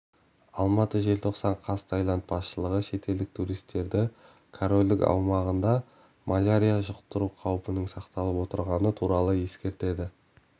алматы желтоқсан қаз тайланд басшылығы шетелдік туристерді корольдық аумағында малярия жұқтыру қаупінің сақталып отырғаны туралы ескертеді